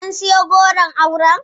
Kun sayi goron auren?